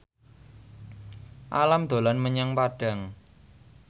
Alam dolan menyang Padang